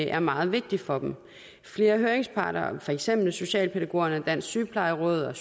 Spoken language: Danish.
er meget vigtigt for dem flere høringsparter for eksempel socialpædagogerne dansk sygeplejeråd og